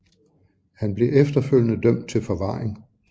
Han blev efterfølgede dømt til forvaring